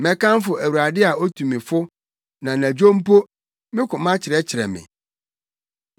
Mɛkamfo Awurade a otu me fo; na anadwo mpo, me koma kyerɛkyerɛ me.